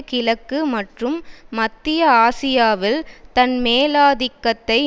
கிழக்கு மற்றும் மத்திய ஆசியாவில் தன் மேலாதிக்கத்தை